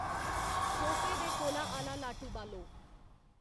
सोफे दे कोला आह्ला लाटू बालो